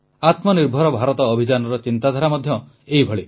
ଆତ୍ମନିର୍ଭର ଭାରତ ଅଭିଯାନର ଚିନ୍ତାଧାରା ମଧ୍ୟ ଏହିଭଳି